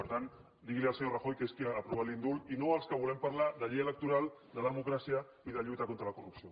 per tant digui li ho al senyor rajoy que és qui ha aprovat l’indult i no als que volem parlar de llei electoral de democràcia i de lluita contra la corrupció